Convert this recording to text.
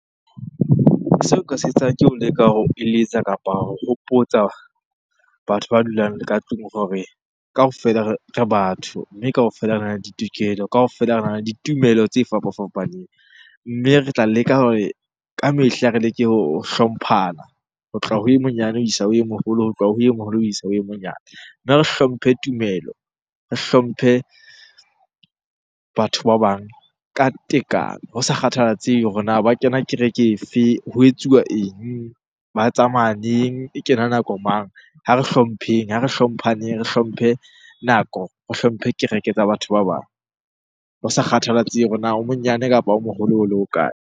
Seo nka se etsang ke ho leka ho eletsa kapa ho hopotsa batho ba dulang le ka tlung hore kaofela re batho. Mme kaofela rena le ditokelo, kaofela rena le ditumelo tse fapafapaneng. Mme re tla leka hore ka mehla re leke ho hlomphana ho tloha ho e monyane ho isa e moholo, ho tloha ho e moholo ho isa ho e monyane. Mme re hlomphe tumelo, re hlomphe batho ba bang ka tekano ho sa kgathalatsehe hore na ba kena kereke e fe? ho etsuwa eng? Ba tsamaya neng? E kena nako mang? Ha re hlompheng, ha re hlomphaneng re hlomphe nako, re hlomphe kereke tsa batho ba bang. Ho sa kgathalatsehe hore na o monyane kapa o moholo ho le ho kae?